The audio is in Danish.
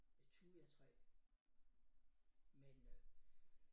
Et thujatræ men øh